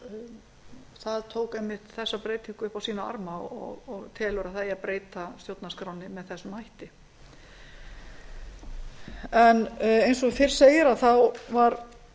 inn tillögum tók einmitt þessa breytingu upp á sína arma og telur að breyta eigi stjórnarskránni með þessum hætti eins og fyrr segir var